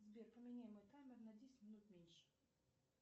сбер поменяй мой таймер на десять минут меньше